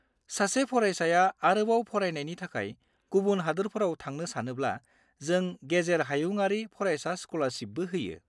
सासे फरायसाया आरोबाव फरायनायनि थाखाय गुबुन हादोरफोराव थांनो सानोब्ला जों गेजेर-हायुंआरि फरायसा स्क'लारशिपबो होयो।